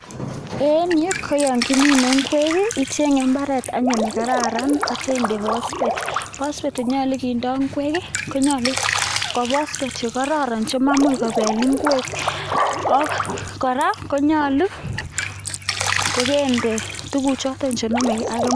En yu koyon kimine ingwek i ichenge anyun imbaret nekararan atyoo inde phosphate. Phosphateche nyolu kiinde ingwek konyolu ko katoltolik che kororonchemaimuch kobel ingwek. Ak kora konyolu kokende chotok chenomegee ak imbar.